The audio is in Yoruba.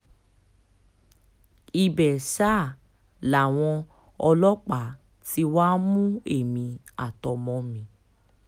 ibẹ̀ sá làwọn ọlọ́pàá tí wàá mú èmi àtọmọ mi